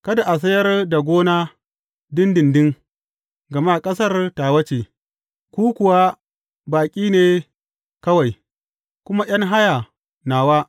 Kada a sayar da gona ɗinɗinɗin, gama ƙasar tawa ce, ku kuwa baƙi ne kawai, kuma ’yan haya nawa.